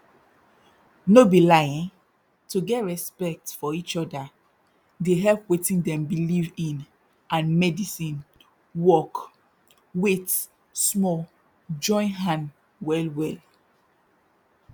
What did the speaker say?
no be lie eh to get respect for eachoda dey help wetin dem believe in and medisin work wait small join hand well well